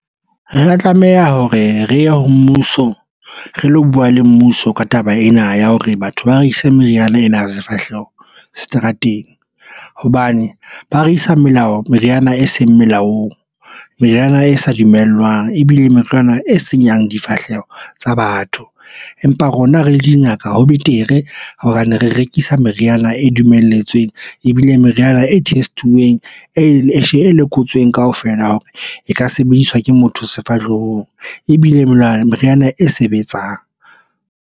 Re tlameha hore re ye ho mmuso re lo buwa le mmuso ka taba ena ya hore batho ba re ise meriana ena sefahleho seterateng hobane ba re isa melao. Meriana e seng melaong meriana e sa dumellwang ebile metlwana e senyang difahleho tsa batho. Empa rona re le dingaka. Ho betere hobane re rekisa meriana e dumelletsweng ebile meriana e test-uweng e lekotsweng kaofela hore e ka sebediswa ke motho sefahlehong ebile meriana e sebetsang.